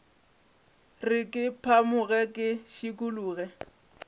re ke phamoge ke šikologe